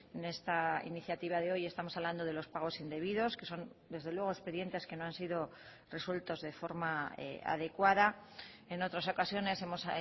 en esta iniciativa de hoy estamos hablando de los pagos indebidos que son desde luego expedientes que no han sido resueltos de forma adecuada en otras ocasiones hemos